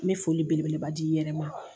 N bɛ foli beleba d'i yɛrɛ ma